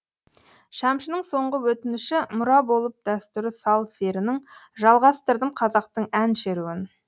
шәмшінің соңғы өтініші мұра болып дәстүрі сал серінің жалғастырдым қазақтың ән шеруін